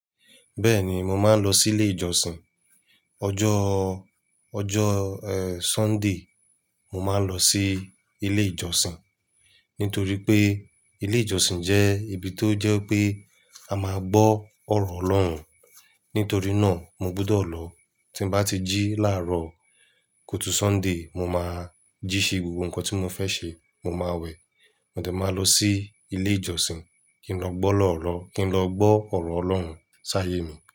Bẹ́ẹ̀ni, mo máa ń lọ sí ilé ìjọsìn. Ọjọ́, ọjọ́ eh Sunday, mo máa lọ sí ilé ìjọsìn. Nítorí pé ilé ìjọsìn jẹ́ ibi tó jẹ́ pé a máa gbọ́ ọ̀rọ̀ Ọlọ́run. Nítorí náà mo gbúdọ̀ lọ. Tí mo bá ti jí láàárọ̀ kótú Sunday, mo máa jí ṣe gbogbo nǹkan tí mo fẹ́ ṣe, mo máa wẹ̀. Mọ̀de máa lọ sí ilé ìjọsìn, kí n lọ gbọ́ lọ́ọ̀rọ̀, kí n lọ gbọ́ ọ̀rọ̀ Ọlọ́run ṣáayé mi.